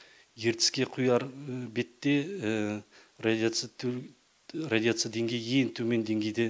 ертіске құяр бетте радиация радиация деңгейі ең төмен деңгейде